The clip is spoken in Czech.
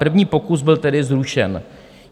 První pokus byl tedy zrušen.